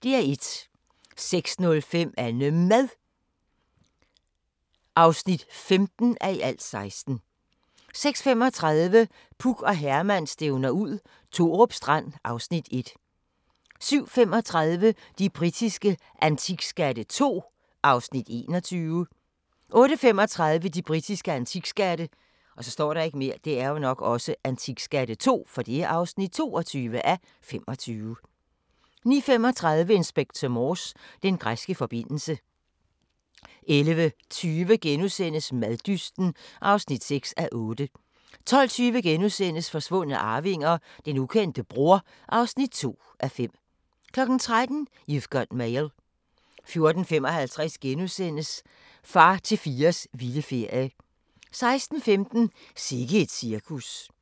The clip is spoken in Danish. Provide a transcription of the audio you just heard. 06:05: AnneMad (15:16) 06:35: Puk og Herman stævner ud – Thorup Strand (Afs. 1) 07:35: De britiske antikskatte II (21:25) 08:35: De britiske antikskatte (22:25) 09:35: Inspector Morse: Den græske forbindelse 11:20: Maddysten (6:8)* 12:20: Forsvundne arvinger: Den ukendte bror (2:5)* 13:00: You've Got Mail 14:55: Far til fires vilde ferie * 16:15: Sikke et cirkus